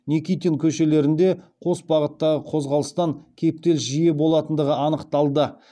никитин көшелерінде қос бағыттағы қозғалыстан кептеліс жиі болатындығы анықталды